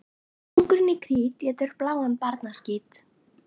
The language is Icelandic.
Kóngurinn í Krít étur bláan barnaskít.